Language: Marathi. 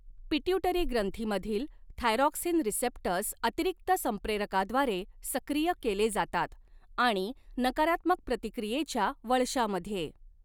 पिट्यूटरी ग्रंथीमधील थायरॉक्सिन रिसेप्टर्स अतिरिक्त संप्रेरकाद्वारे सक्रिय केले जातात आणि नकारात्मक प्रतिक्रियेच्या वळशामध्ये